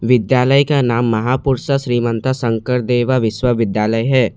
विद्यालय का नाम महापुरुषा श्रीमंता शंकरदेवा विश्वविद्यालय है।